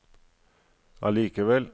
allikevel